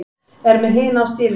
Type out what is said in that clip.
Er með hina á stýrinu.